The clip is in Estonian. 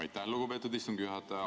Aitäh, lugupeetud istungi juhataja!